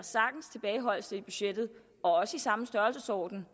tilbageholdelse i budgettet og også i samme størrelsesorden